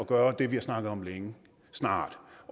gøre det vi har snakket om længe og snart